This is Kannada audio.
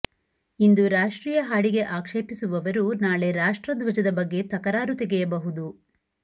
ಇಂದು ರಾಷ್ಟ್ರೀಯ ಹಾಡಿಗೆ ಆಕ್ಷೇಪಿಸುವವರು ನಾಳೆ ರಾಷ್ಟ್ರಧ್ವಜದ ಬಗ್ಗೆ ತಕರಾರು ತೆಗೆಯಬಹುದು